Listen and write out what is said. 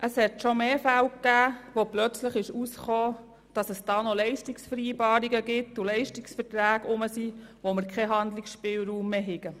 Es kam schon mehrmals vor, dass auf einmal Leistungsverträge auftauchten und wir keinen Handlungsspielraum mehr hatten.